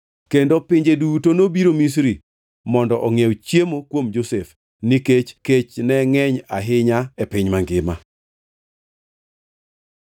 Kendo pinje duto nobiro Misri mondo ongʼiew chiemo kuom Josef, nikech kech ne ngʼeny ahinya e piny mangima.